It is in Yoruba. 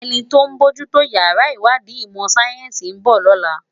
Eni tó n bójù tó iyàrá iwádi imò sáyènsi n bò lòlá